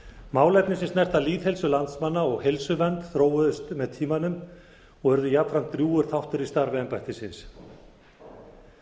málefni sem snerta lýðheilsu landsmanna og heilsuvernd þróuðust með tímanum og urðu jafnframt drjúgur þáttur í starfi embættisins við